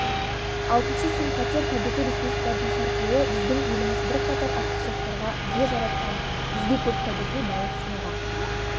алтыншы сын-қатер табиғи ресурстардың сарқылуы біздің еліміз бірқатар артықшылықтарға ие жаратқан бізге көп табиғи байлық сыйлаған